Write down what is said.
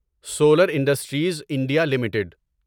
solar industries India limited